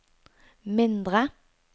mindre